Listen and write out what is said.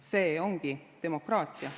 See ongi demokraatia.